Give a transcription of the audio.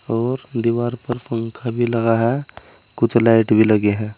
और दीवार पर पंखा भी लगा है कुछ लाइट भी लगे हैं।